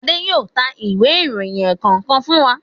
Ade yóò tá Ìwé ìròyìn ẹ̀ẹ̀kọ̀kan fún wá.